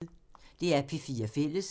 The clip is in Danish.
DR P4 Fælles